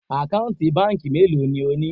Àkáǹtì báńkì mélòó ni o ni?